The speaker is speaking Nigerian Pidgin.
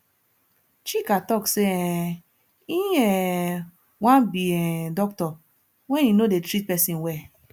chika talk say um e um wan be um doctor wen he no dey treat person well